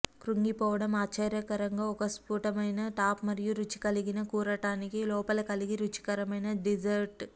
కృంగిపోవడం ఆశ్చర్యకరంగా ఒక స్ఫుటమైన టాప్ మరియు రుచి కలిగిన కూరటానికి లోపల కలిగి రుచికరమైన డిజర్ట్